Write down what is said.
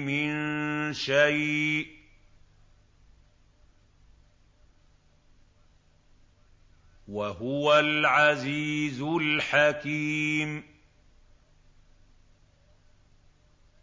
مِن شَيْءٍ ۚ وَهُوَ الْعَزِيزُ الْحَكِيمُ